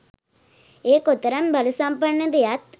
එය කොතරම් බලසම්පන්නද යත්